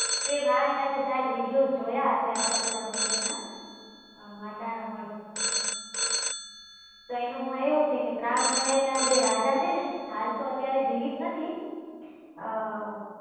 તે મારા ખ્યાલ થી શાયદ videos જોયા હશે આશાપુરા મંદિર નાં માતા નો મઢ તો એના માં એવું છે કે પ્રાગ મહેલ નાં જે રાજા છે ને હાલ તો અત્યારે જીવિત નથી.